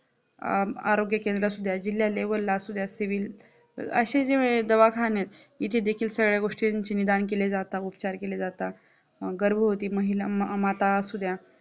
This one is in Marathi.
आरोग्य केंद्र असू द्या, जिल्हा level ला असु द्या सिविल असे जे दवाखान्यात इथे देखील सगळे गोष्टींची निदान केले जातात, उपचार केले जातात गर्भवती महिला माता असू द्या